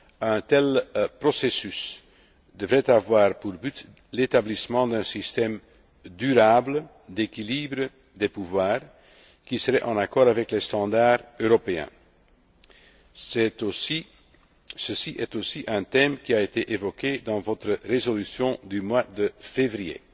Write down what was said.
et participatif. Un tel processus devrait avoir pour but l'établissement d'un système durable d'équilibre des pouvoirs, qui serait en accord avec les standards européens. C'est aussi un thème qui a été évoqué dans votre résolution du